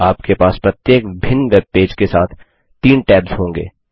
अब आपके पास प्रत्येक भिन्न वेबपेज के साथ तीन टैब्स होंगे